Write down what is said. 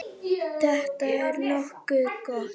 Þetta er nokkuð gott.